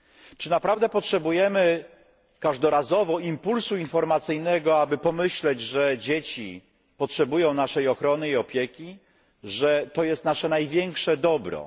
Czy naprawdę potrzebujemy każdorazowo impulsu informacyjnego, aby pomyśleć, że dzieci potrzebują naszej ochrony i opieki, że to jest nasze największe dobro?